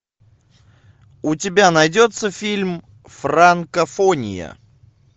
у тебя найдется фильм франкофония